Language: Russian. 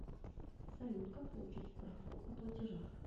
салют как получить справку о платежах